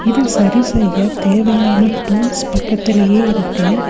இது சரி செய்ய தேவையான டூல்ஸ் பக்கத்துலயே இருக்கு.